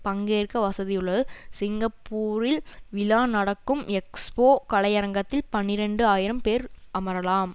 பங்கேற்க வசதி உள்ளது சிங்கப்பூரில் விழா நடக்கும் எக்ஸ்போ கலையரங்கத்தில் பனிரண்டு ஆயிரம் பேர் அமரலாம்